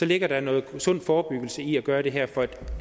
ligger noget sund forebyggelse i at gøre det her for et